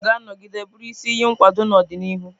Ezinụlọ ga-anọgide bụrụ isi iyi nkwado n'ọdịnihu.